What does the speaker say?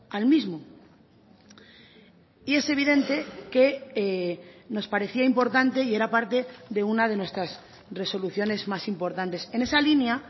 al mismo y es evidente que nos parecía importante y era parte de una de nuestras resoluciones más importantes en esa línea